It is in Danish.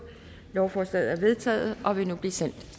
lovforslaget er vedtaget og vil nu blive sendt